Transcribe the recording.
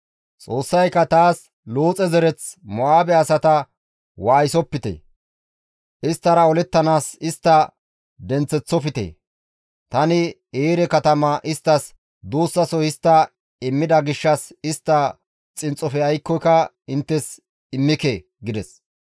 Xoossayka taas, «Looxe zereth Mo7aabe asata waayisopite; isttara olettanaas istta denththeththofte; tani Eere katama isttas duussaso histta immida gishshas istta xinxxofe aykkoka inttes immike» gides.